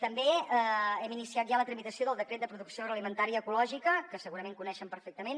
també hem iniciat ja la tramitació del decret de producció agroalimentària ecològica que segurament coneixen perfectament